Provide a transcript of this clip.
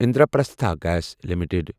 Indraprastha gas limited